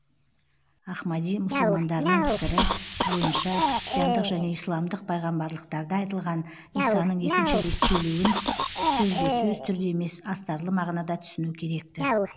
ахмади мұсылмандарының пікірі бойынша христиандық және исламдық пайғамбарлықтарда айтылған исаның екінші рет келуін сөзбе сөз түрде емес астарлы мағынада түсіну керек ті